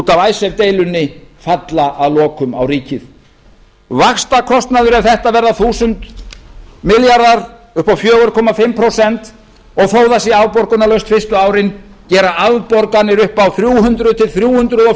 af icesave deilunni falla að lokum á ríkið ef þetta verða þúsund milljarðar upp á fjögur og hálft prósent og þó það sé afborgunarlaust fyrstu árin gerir þetta afborganir upp á þrjú hundruð til þrjú hundruð